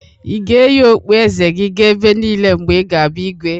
Ị ga-eyi okpueze gi ga ebe niile mgbe ị ga-abụ Igwe?